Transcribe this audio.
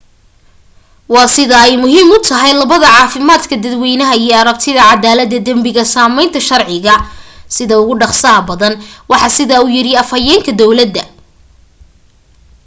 "waa sida ay muhiim u tahay labada caafimaadka dadweynaha iyo aragtida cadaalada dambiga sameynta sharciga sida ugu dhaqsaha badan waxaa sidaa u yiri afhayeenka dawlada.